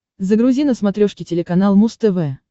загрузи на смотрешке телеканал муз тв